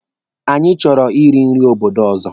Anyị chọrọ I ri nri obodo ọzọ.